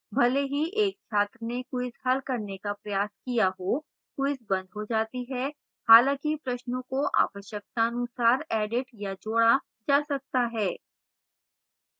भले ही एक छात्र ने quiz हल करने का प्रयास किया हो quiz बंद हो जाती है हालाँकि प्रश्नों को आवश्यकतानुसार एडिट या जोड़ा जा सकता है